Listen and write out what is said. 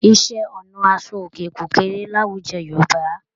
Iṣẹ́-ọnà aṣọòkè kò kéré láwùjọ Yorùbá.